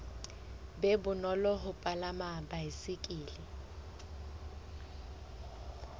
be bonolo ho palama baesekele